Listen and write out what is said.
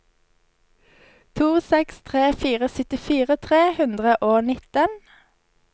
to seks tre fire syttifire tre hundre og nitten